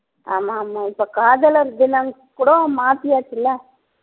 ஆமா ஆமா இப்ப காதலர் தினம் கூட மாத்தியாச்சு இல்ல ஹம்